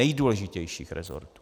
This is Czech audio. Nejdůležitějších resortů.